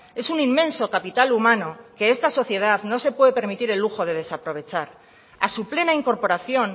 es un inmenso capital humano que esta sociedad no se puede permitir el lujo de desaprovechar a su plena incorporación